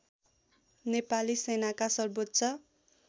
नेपाली सेनाका सर्बोच्च